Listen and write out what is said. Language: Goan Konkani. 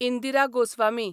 इंदिरा गोस्वामी